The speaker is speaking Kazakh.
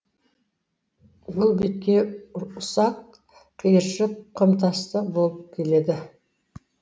бұл беткей ұсак қиыршық құмтасты болып келеді